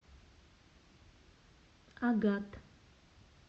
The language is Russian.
агат